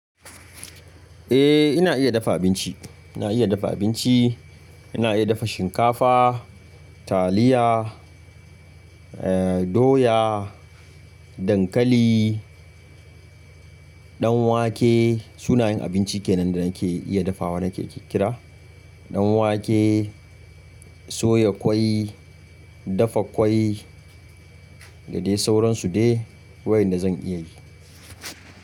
Eh ina iya dafa abinci, ina iya dafa abinci. Ina iya dafa shinkafa, taliya, eh doya, dankali, ɗan wake sunayen abinci kenan da nake iya dafawa nake kira. Ɗan wake, in soya ƙwai, in dafa ƙwai, gadie sauransu de wayanda zan iya yi.